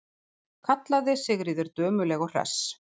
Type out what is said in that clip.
kallaði Sigríður dömuleg og hress.